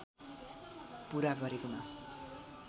पूरा गरेकोमा